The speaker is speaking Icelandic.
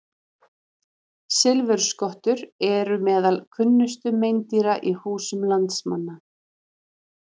Silfurskottur eru meðal kunnustu meindýra í húsum landsmanna.